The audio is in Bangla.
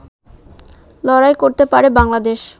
লড়াই করতে পারে বাংলাদেশ